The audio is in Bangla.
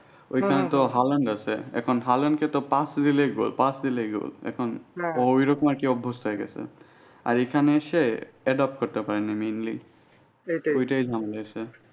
ওইটাই ঝামেলা হয়েছে